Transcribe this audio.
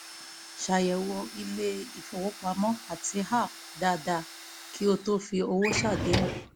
ṣàyẹ̀wò ilé-ìfowópamọ́ àti app dáadáa kí o tó fi owó ṣàdéhùn